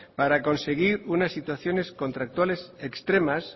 para conseguir una situación contractuales extremas